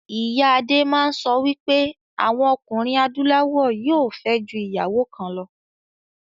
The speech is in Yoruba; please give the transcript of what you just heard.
Ìyá adé máa ń sọ wípé àwọn ọkùnrin adúláwọ̀ yóò fẹ́. ju ìyàwó kan lọ